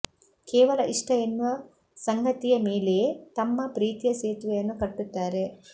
ಕೇವಲ ಇಷ್ಟ ಎನ್ನುವ ಸಂಗತಿಯ ಮೇಲೇ ತಮ್ಮ ಪ್ರೀತಿಯ ಸೇತುವೆಯನ್ನು ಕಟ್ಟುತ್ತಾರೆ